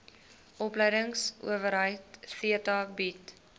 opleidingsowerheid theta bied